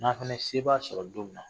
N'an fana ye sebaya sɔrɔ don min na